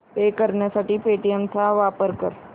पे करण्यासाठी पेटीएम चा वापर कर